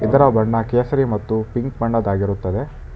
ಇದರ ಬಣ್ಣ ಕೇಸರಿ ಮತ್ತು ಪಿಂಕ್ ಬಣ್ಣದಾಗಿರುತ್ತದೆ.